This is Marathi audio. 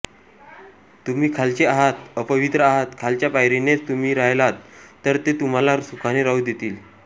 तुम्ही खालचे आहात अपवित्र आहात खालच्या पायरीनेच तुम्ही राहिलात तर ते तुम्हाला सुखाने राहू देतील